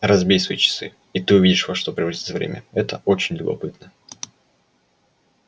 разбей свои часы и ты увидишь во что превратится время это очень любопытно